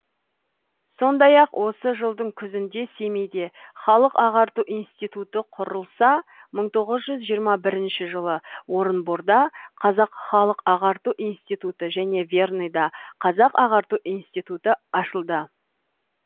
сондай ақ осы жылдың күзінде семейде халық ағарту институты құрылса мың тоғыз жүз жиырма бірінші жылы орынборда қазақ халық ағарту институты және верныйда қазақ ағарту институты ашылды